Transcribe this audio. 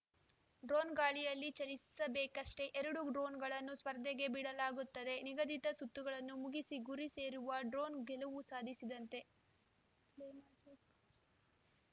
drone ಗಾಳಿಯಲ್ಲಿ ಚಲಿಸಬೇಕಷ್ಟೆ ಎರಡು ಡ್ರೋನ್‌ಗಳನ್ನು ಸ್ಪರ್ಧೆಗೆ ಬಿಡಲಾಗುತ್ತದೆ ನಿಗದಿತ ಸುತ್ತುಗಳನ್ನು ಮುಗಿಸಿ ಗುರಿ ಸೇರುವ ಡ್ರೋನ್‌ ಗೆಲುವು ಸಾಧಿಸಿದಂತೆ